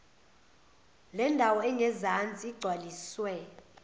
lendawo engezansi igcwaliswe